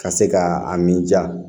Ka se ka a min ja